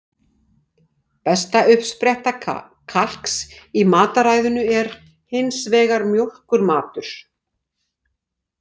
Besta uppspretta kalks í mataræðinu er hins vegar mjólkurmatur.